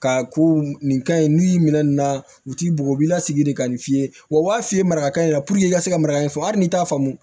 Ka ko nin ka ɲi n'u y'i minɛ nin na u t'i bugɔ u b'i lasigi de ka nin f'i ye wa u b'a f'i ye maraka in na puruke i ka se ka maraka in fɔ hali n'i y'a faamu